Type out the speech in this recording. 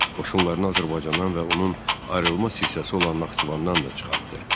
Qoşunlarını Azərbaycandan və onun ayrılmaz hissəsi olan Naxçıvandan da çıxartdı.